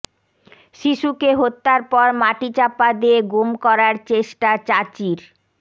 শিশুকে হত্যার পর মাটিচাপা দিয়ে গুম করার চেষ্টা চাচির